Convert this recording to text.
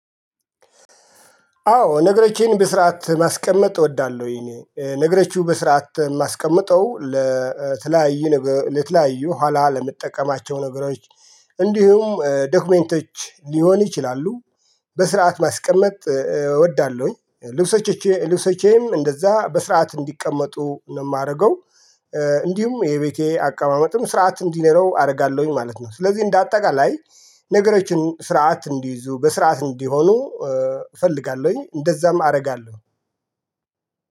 አዎ ነገሮቼን በስርዓት ማስቀመጥ እወዳለሁኝ ነገሮችን በስርዓት የማስቀምጠው ለተለያዩ ነገር ለተለያዩ ኋላ ለምትጠቀማቸው ነገሮች እንዲሁም ዶክመንቶች ሊሆን ይችላሉ። በስርዓት ማስቀመጥ እወዳለሁኝ ልብሶቼም እንደዛ በስርዓት እንዲቀመጡ ነው የማደርገው። እንዲሁም የቤቴ አቀማመጥም ስርዓት እንዲኖረው አደርጋለሁኝ ማለት ነው። ስለዚህ እንደ አጠቃላይ ነገሮችን ስርዓት እንዲይዙ በስርዓት እንዲሆኑ እፈልጋለሁኝ እንደዛም አደርጋለሁ።